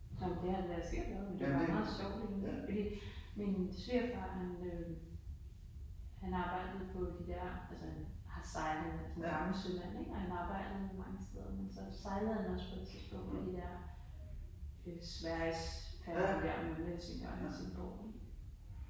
Nåh men det har det da sikkert været. Det jo bare meget sjovt egentlig fordi min svigerfar han øh han arbejdede på de der, altså han har sejlet han er sådan gammel sømand ik og han har arbejdet mange steder men så sejlede han også på et tidspunkt på de der øh Svergiesfærgen der mellem Helsingør og Helsingborg